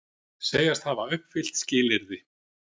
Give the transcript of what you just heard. Segjast hafa uppfyllt skilyrði